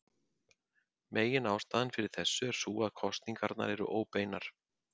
Meginástæðan fyrir þessu er sú að kosningarnar eru óbeinar.